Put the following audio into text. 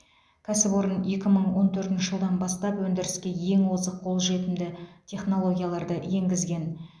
кәсіпорын екі мың он төртінші жылдан бастап өндіріске ең озық қолжетімді технологияларды енгізген